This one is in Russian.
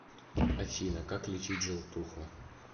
афина как лечить желтуху